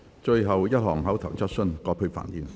最後一項口頭質詢。